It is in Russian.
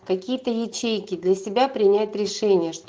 какие-то ячейки для себя принять решение